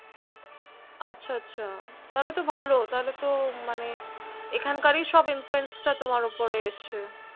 আছা আছা তাহলে তো ভালো তাহলে তো মানে এখানকারই সব Influence টা তোমার ওপরে এসেছে